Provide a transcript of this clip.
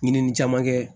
Ɲinini caman kɛ